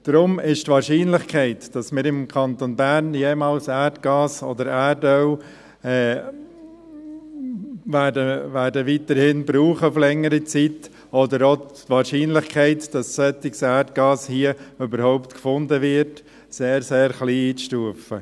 Darum ist die Wahrscheinlichkeit, dass wir im Kanton Bern auf längere Zeit jemals Erdgas oder Erdöl brauchen werden, oder auch die Wahrscheinlichkeit, dass solches Erdgas hier überhaupt gefunden wird, als sehr, sehr klein einzustufen.